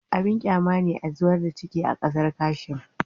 Abin kyama ne zubar da ciki a kasar kasham